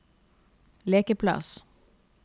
lekeplass